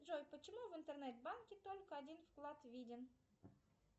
джой почему в интернет банке только один вклад виден